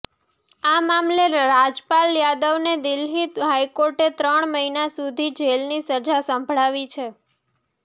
આ મામલે રાજપાલ યાદવને દિલ્હી હાઈકોર્ટે ત્રણ મહિના સુધી જેલની સજા સંભળાવી છે